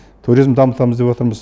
туризмді дамытамыз деп отырмыз